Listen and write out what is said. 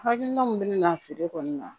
Hakilina min bɛ na feere kɔni na